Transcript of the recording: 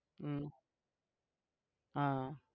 હમ હા